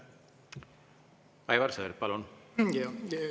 Aivar Sõerd, palun!